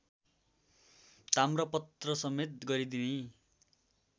ताम्रपत्रसमेत गरी दिई